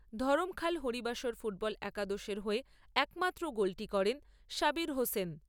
Dharamkhal Haribasar football একাদশের হয়ে একমাত্র গোলটি করেন সাবির হোসেন।